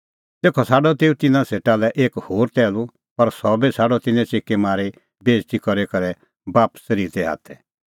तेखअ छ़ाडअ तेऊ तिन्नां सेटा लै एक होर टैहलू पर सह बी छ़ाडअ तिन्नैं च़िकी मारी बेइज़ती करी करै बापस रित्तै हाथै